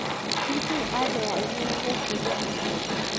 nĩ kĩĩ anja ya igĩrĩ gũkĩria igĩrĩ